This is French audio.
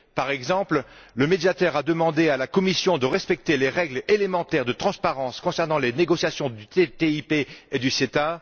Par exemple, le Médiateur a demandé à la Commission de respecter les règles élémentaires de transparence concernant les négociations du TTIP et du CETA.